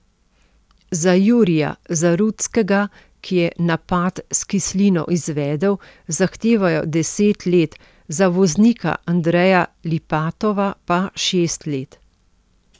Za Jurija Zarutskega, ki je napad s kislino izvedel, zahtevajo deset let, za voznika Andreja Lipatova pa šest let.